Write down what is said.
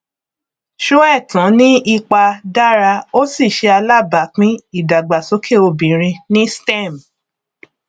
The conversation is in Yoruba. sóẹtàn ní ipa dára ó sì ṣe alábápín ìdàgbàsókè obìnrin ní stem